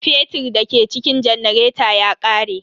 Fetir da ke cikin janareta ya ƙare.